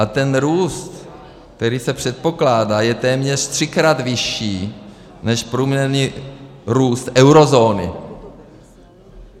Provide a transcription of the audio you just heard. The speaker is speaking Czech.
A ten růst, který se předpokládá, je téměř třikrát vyšší než průměrný růst eurozóny.